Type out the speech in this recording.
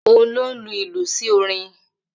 Ohun ló n lu ìlù sí orin